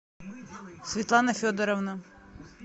светлана федоровна